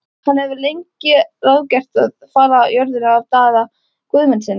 Hann hafði lengi ráðgert að fala jörðina af Daða Guðmundssyni.